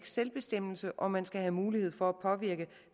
selvbestemmelse og man skal have mulighed for at påvirke